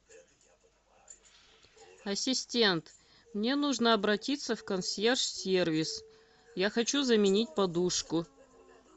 ассистент мне нужно обратиться в консьерж сервис я хочу заменить подушку